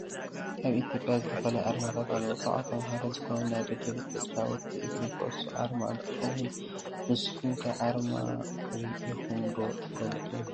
ኣብ ኢትዮጵያ ዝተፈላለዩ ኣርማታት ኣለው። ካብኣቶም ሓደ ዝኮነ ናይ ደደቢት ተጫወቲ እግሪ ኩዕሶ ኣርማ እንትከውን ንስኩም ከ ኣርማ ሪኢኩም ዶ ትፈልጡ?